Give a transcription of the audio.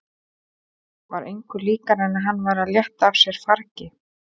Var engu líkara en hann væri að létta af sér fargi.